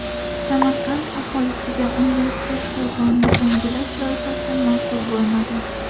Samarqand aholisiga universitet xiyobonini yangilash loyihasi ma’qul bo‘lmadi.